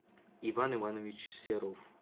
иван иванович серов